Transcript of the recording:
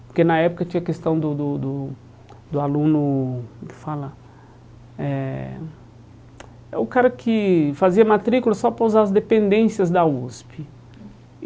Porque na época tinha a questão do do do do aluno... como fala eh É O cara que fazia matrícula só para usar as dependências da USP.